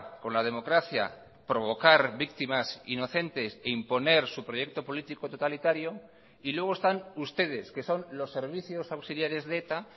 con la democracia provocar víctimas inocentes e imponer su proyecto político totalitario y luego están ustedes que son los servicios auxiliares de eta